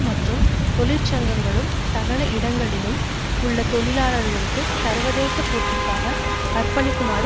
தொழிற்சங்கங்களும் சகல இடங்களிலும் உள்ள தொழிலாளர்களுக்கு சர்வதேச போட்டிக்காக அர்ப்பணிக்குமாறு கூறுகின்றன